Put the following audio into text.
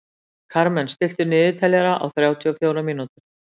Karmen, stilltu niðurteljara á þrjátíu og fjórar mínútur.